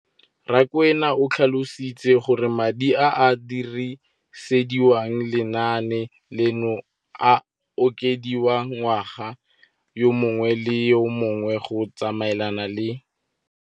Rakwena o tlhalositse gore madi a a dirisediwang lenaane leno a okediwa ngwaga yo mongwe le yo mongwe go tsamaelana le